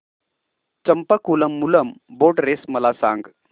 Champakulam Moolam boat race मला सांग